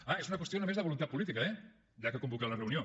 ah és una qüestió només de voluntat política eh s’ha de convocar la reunió